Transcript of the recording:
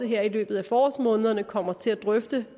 her i løbet af forårsmånederne kommer til at drøfte